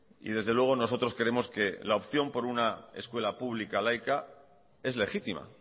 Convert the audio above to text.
y desde luego nosotros creemos que la opción por una escuela pública laica es legítima